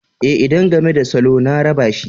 E, idan game da salo ne raba shi.